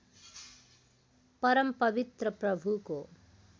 परम पवित्र प्रभुको